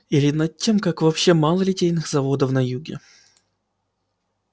или над тем как вообще мало литейных заводов на юге